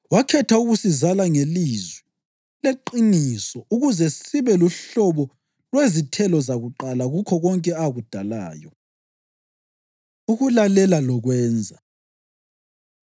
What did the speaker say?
Wakhetha ukusizala ngelizwi leqiniso ukuze sibe luhlobo lwezithelo zakuqala kukho konke akudalayo. Ukulalela Lokwenza